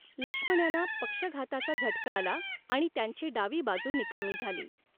लक्ष्मण यांना पक्षघाताचा झटका आला आणि त्यांची डावी बाजू निकामी झाली.